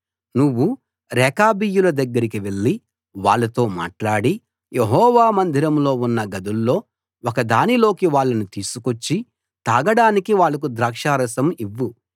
నువ్వు రేకాబీయుల దగ్గరికి వెళ్లి వాళ్ళతో మాట్లాడి యెహోవా మందిరంలో ఉన్న గదుల్లో ఒకదానిలోకి వాళ్ళను తీసుకొచ్చి తాగడానికి వాళ్లకు ద్రాక్షారసం ఇవ్వు